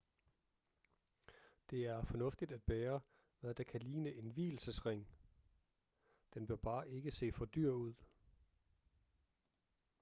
det er fornuftigt at bære hvad der kan ligne en vielsesring den bør bare ikke se for dyr ud